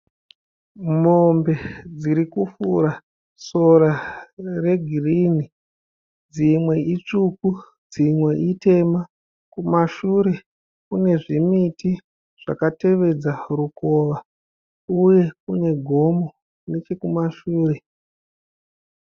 Mombe dziri kufura sora regirini. Dzimwe itsvuku dzimwe itema. Uye kune gomo nechekumashure.